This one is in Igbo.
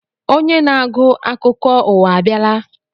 Onye na-agụ akụkọ ụwa abịala?